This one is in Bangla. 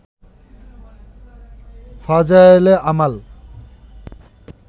ফাজায়েলে আমাল